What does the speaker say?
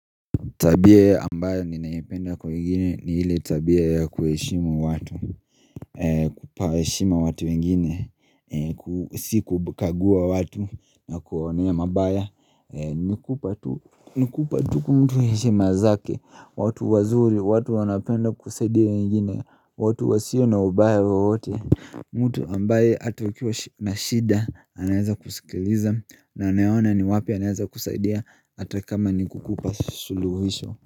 Tabia ambayo ninaipenda kwa wengine ni ile tabia ya kuheshimu watu kupa heshima watu wengine, si kukagua watu na kuwaonea mabaya Nikupa tu mtu heshima zake, watu wazuri, watu wanapenda kusaidia wengine, watu wasio na ubaya wowote mtu ambaye hata ukiwa na shida, anaeza kusikiliza na anayeona ni wapi anaeza kusaidia hata kama nikukupa suluhisho.